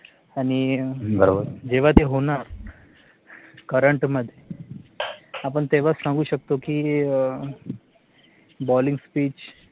आणि जेव्हा ते होणार Current मध्ये, आपण तेव्हाच सांगू शकतो की BALLING SPEECH